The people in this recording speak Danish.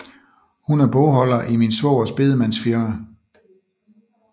Hun er bogholder i min svogers bedemandsfirma